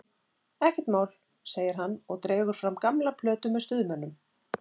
Ekkert mál, segir hann og dregur fram gamla plötu með Stuðmönnum.